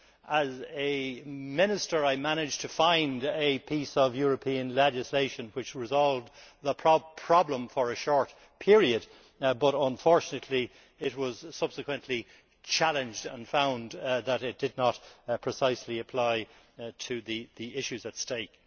As a Minister I managed to find a piece of European legislation which resolved the problem for a short period, but unfortunately it was subsequently challenged and found not to apply precisely to the issues at stake.